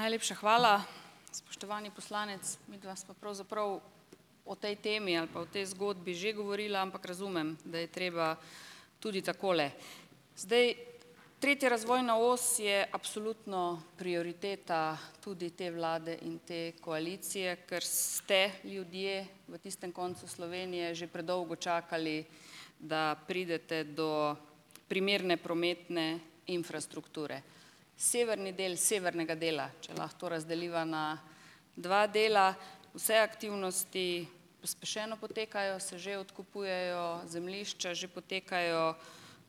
Najlepša hvala. Spoštovani poslanec, midva sva pravzaprav o tej temi ali pa o tej zgodbi že govorila, ampak razumem, da je treba tudi takole. Zdaj, tretja razvojna os je absolutno prioriteta tudi te vlade in te koalicije, ker ste ljudje v tistem koncu Slovenije že predolgo čakali, da pridete do primerne prometne infrastrukture. Severni del severnega dela, če lahko to razdeliva na dva dela, vse aktivnosti pospešeno potekajo, se že odkupujejo zemljišča, že potekajo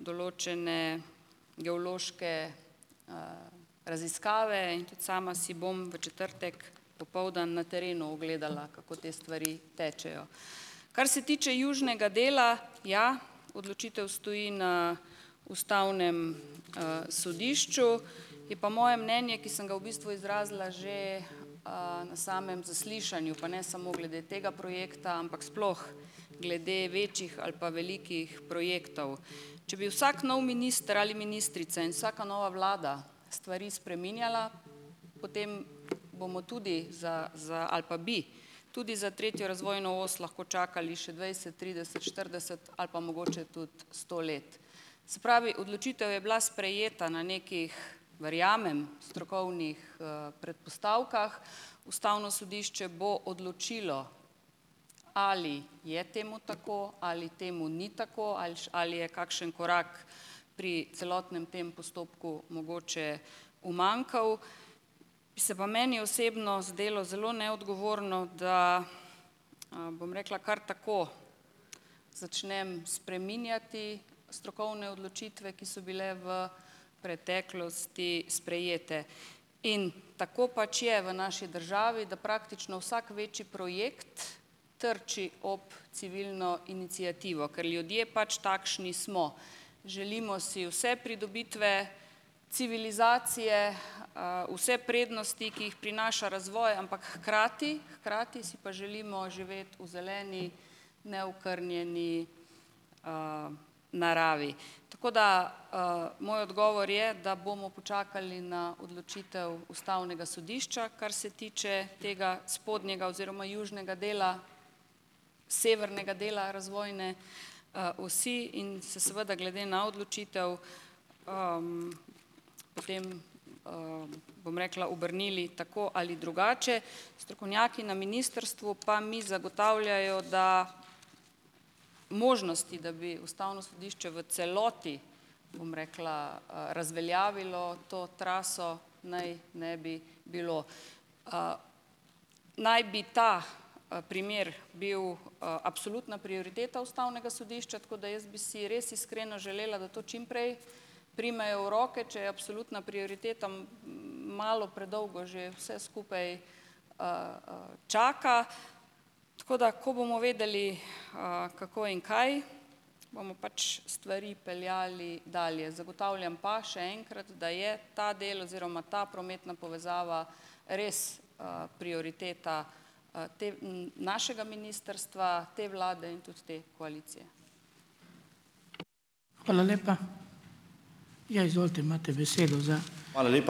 določene geološke raziskave. In tudi sama si bom v četrtek popoldan na terenu ogledala, kako te stvari tečejo. Kar se tiče južnega dela, ja, odločitev stoji na Ustavnem sodišču. Je pa moje mnenje, ki sem ga v bistvu izrazila, že na samem zaslišanju, pa ne samo glede tega projekta, ampak sploh glede večjih ali pa velikih projektov. Če bi vsak nov minister ali ministrica in vsaka nova vlada stvari spreminjala, potem bomo tudi za, za, ali pa bi tudi za tretjo razvojno os lahko čakali še dvajset, trideset, štirideset ali pa mogoče tudi sto let. Se pravi odločitev je bila sprejeta na nekih, verjamem, strokovnih predpostavkah. Ustavno sodišče bo odločilo, ali je temu tako ali temu ni tako ali še ali je kakšen korak pri celotnem tem postopku mogoče umanjkal. Bi se pa meni osebno zdelo zelo neodgovorno, da, bom rekla, kar tako začnem spreminjati strokovne odločitve, ki so bile v preteklosti sprejete. In tako pač je v naši državi, da praktično vsak večji projekt trči ob civilno iniciativo, ker ljudje pač takšni smo. Želimo si vse pridobitve, civilizacije, vse prednosti, ki jih prinaša razvoj, ampak hkrati, hkrati si pa želimo živeti v zeleni neokrnjeni naravi. Tako da, moj odgovor je, da bomo počakali na odločitev Ustavnega sodišča, kar se tiče tega spodnjega oziroma južnega dela, severnega dela razvojne osi in se seveda glede na odločitev potem, bom rekla, obrnili tako ali drugače. Strokovnjaki na ministrstvu pa mi zagotavljajo, da možnosti, da bi Ustavno sodišče v celoti bom rekla, razveljavilo to traso, naj ne bi bilo. Naj bi ta primer bil absolutna prioriteta Ustavnega sodišča, tako da jaz bi si res iskreno želela, da to čimprej primejo v roke, če je absolutna prioriteta malo predolgo že vse skupaj čaka. Tako da, ko bomo vedeli kako in kaj, bomo pač stvari peljali dalje. Zagotavljam pa, še enkrat, da je ta del oziroma ta prometna povezava res prioriteta te, našega ministrstva, te vlade in tudi te koalicije.